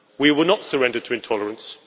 We will not surrender to intolerance.